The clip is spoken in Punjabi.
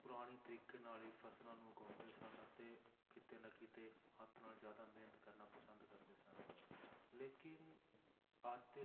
ਪੁਰਾਣੇ ਤਰੀਕੇ ਨਾਲ ਹੀ ਫਸਲਾਂ ਨੂੰ ਉਗਾਉਂਦੇ ਸਨ ਅਤੇ ਕਿਤੇ ਨਾ ਕਿਤੇ ਹੱਥ ਨਾਲ ਜ਼ਿਆਦਾ ਮਿਹਨਤ ਕਰਨਾ ਪਸੰਦ ਕਰਦੇ ਸਨ ਲੇਕਿੰਨ ਅੱਜ ਦੇ